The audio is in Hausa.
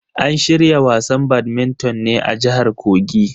An shirya wasan badminton ne a jahar kogi.